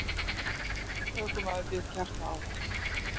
Ökumaður fékk hjartaáfall